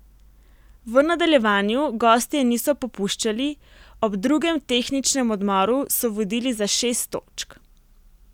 V nadaljevanju gostje niso popuščali, ob drugem tehničnem odmoru so vodili za šest točk.